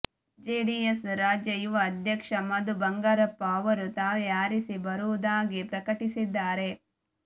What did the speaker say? JDS ರಾಜ್ಯ ಯುವ ಅಧ್ಯಕ್ಷ ಮಧು ಬಂಗಾರಪ್ಪ ಅವರು ತಾವೇ ಆರಿಸಿ ಬರುವುದಾಗಿ ಪ್ರಕಟಿಸಿದ್ದಾರೆ